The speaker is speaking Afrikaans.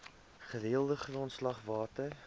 gereelde grondslag water